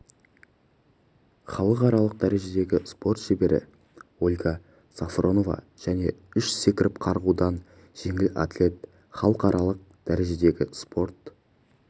халықаралық дәрежедегі спорт шебері ольга сафронова және үш секіріп қарғудан жеңіл атлет халықаралық дәрежедегі спорт